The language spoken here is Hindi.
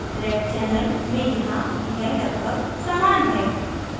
red channel में यहाँ यह लगभग समान है